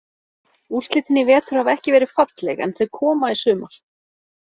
Úrslitin í vetur hafa ekki verið falleg en þau koma í sumar.